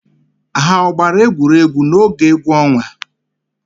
Ha ọ gbara egwuregwu n'oge egwu ọnwa?